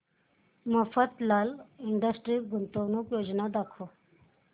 Mafatlal industries गुंतवणूक योजना दाखव